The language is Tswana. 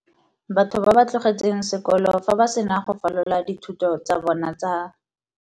Batho ba ba tlogetseng sekolo fa ba sena go falola dithuto tsa bona tsa.